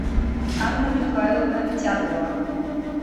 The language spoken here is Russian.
анна михайловна тяглова